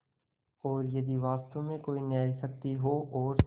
और यदि वास्तव में कोई न्यायशक्ति हो और